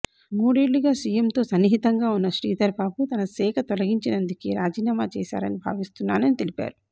మూడేళ్లుగా సీఎంతో సన్నిహితంగా ఉన్న శ్రీధర్బాబు తన శాఖ తొలగించినందుకే రాజీనామా చేశారని భావిస్తున్నానని తెలిపారు